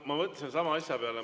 Ma mõtlesin sama asja peale.